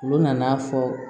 Olu nana fɔ